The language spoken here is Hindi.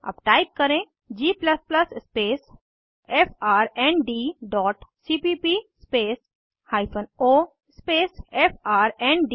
अब टाइप करें g space friend dot CPP space hyphen O space friend